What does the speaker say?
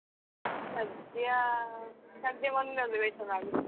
ಸದ್ಯಾ ಸದ್ಯ ಮೊನ್ನೆ ಒಂದು ವೇಷ ಮಾಡಿದ್ದೆ.